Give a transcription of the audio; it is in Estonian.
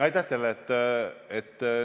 Aitäh teile!